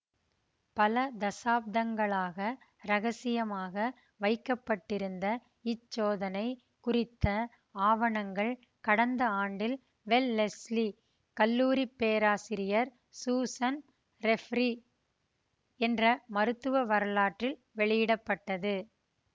பல தசாப்தங்களாக இரகசியமாக வைக்க பட்டிருந்த இச்சோதனை குறித்த ஆவணங்கள் கடந்த ஆண்டில் வெலெஸ்லி கல்லூரி பேராசிரியர் சூசன் ரெபிரீ என்ற மருத்துவ வரலாற்றில் வெளியிட பட்டது